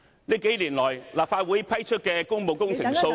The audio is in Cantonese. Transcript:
這數年來，立法會批出的工務工程數量......